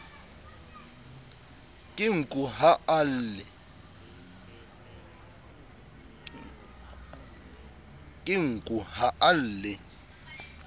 ke nku ha a lle